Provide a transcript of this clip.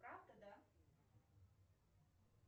правда да